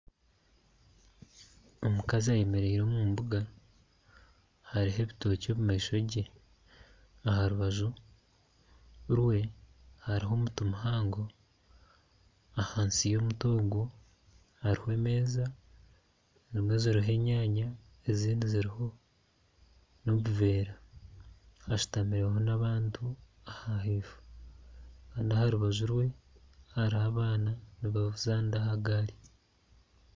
Omukazi ayemereire omu mbuga, hariho ebitookye omu maisho ge. Aha rubaju rwe hariho omuti muhango. Ahansi y'omuti ogwo hariho emeeza, emeeza eriho enyaanya ezindi ziriho n'otuveera. Hashutamireho n'abantu ahaifo. N'aha rubaju rwe hariho abaana nibazaanira aha gaari.